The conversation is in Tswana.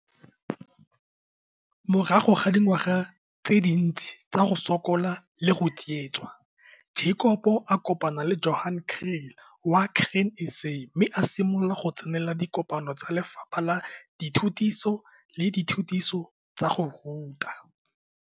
Morago ga dingwaga tse dintsi tsa go sokola le go tsietso, Jacob a kopana Johan Kriel wa Grain SA mme a simolola go tsena dikopano tsa lefapha la dithutiso le dithutiso tsa go ruta.